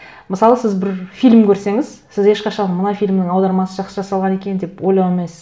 мысалы сіз бір фильм көрсеңіз сіз ешқашан мына фильмнің аудармасы жақсы жасалған екен деп ойлана алмайсыз